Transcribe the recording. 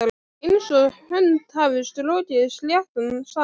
Einsog hönd hafi strokið sléttan sand.